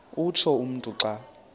utsho umntu xa